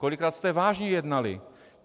Kolikrát jste vážně jednali?